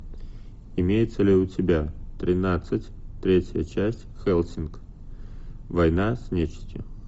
имеется ли у тебя тринадцать третья часть хеллсинг война с нечистью